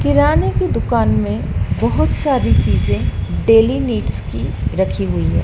किराने की दुकान में बहुत सारी चीजें डेली नीड्स की रखी हुई है।